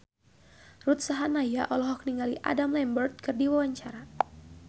Ruth Sahanaya olohok ningali Adam Lambert keur diwawancara